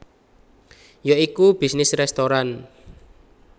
Ya iku bisnis restoran